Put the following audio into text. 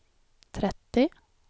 trettio